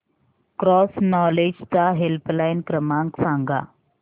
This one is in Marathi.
क्रॉस नॉलेज चा हेल्पलाइन क्रमांक सांगा